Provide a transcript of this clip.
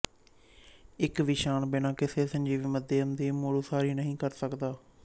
ਇੱਕ ਵਿਸ਼ਾਣੁ ਬਿਨਾਂ ਕਿਸੇ ਸਜੀਵ ਮਾਧਿਅਮ ਦੀ ਮੁੜਉਸਾਰੀ ਨਹੀਂ ਕਰ ਸਕਦਾ ਹੈ